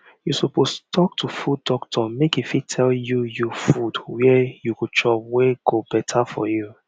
you suppose talk to food doctor make e fit tell you you food were you go chop wey go better for you